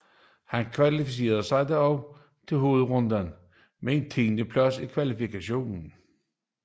Han kvalificerede sig da også til hovedrunden med en tiendeplads i kvalifikationen